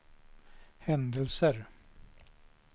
händelser